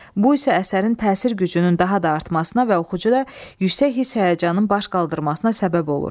Bu isə əsərin təsir gücünün daha da artmasına və oxucuda yüksək hiss-həyəcanın baş qaldırmasına səbəb olur.